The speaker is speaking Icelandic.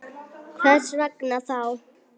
Hvers vegna þá?